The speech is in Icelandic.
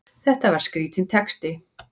Þetta var skrítinn texti!